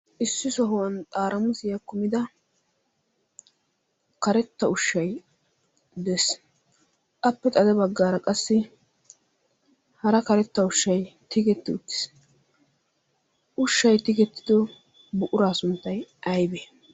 Issi sohuwan xaramusiya kumida karetta ushshay de'ees. Appe xaade baggara qassi hara karetta ushshay tigetti uttis. Ushshay tigeti uttis. Ushshay tigettido buqura sunttay aybe?